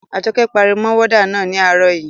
Àjọkẹ́ pariwo mọ wọ́dà náà ní àárọ̀ yii